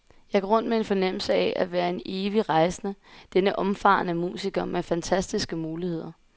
Jeg går rundt med en fornemmelse af at være en evig rejsende, denne omfarende musiker med fantastiske muligheder.